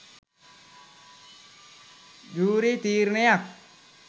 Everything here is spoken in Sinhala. ජූරි තීරණයක්.